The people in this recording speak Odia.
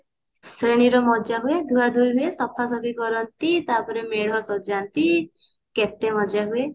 ଶ୍ରେଣୀରେ ବି ମଜା ହୁଏ ଧୁଆ ଧୁଇ ହୁଏ ସଫା ସଫି କରନ୍ତି ତାପରେ ମେଢ ସଯାନ୍ତି କେତେ ମଜା ହୁଏ